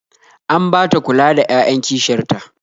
An ba ta kula da 'ya'yan kishiyar ta